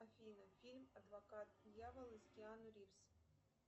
афина фильм адвокат дьявола с киану ривз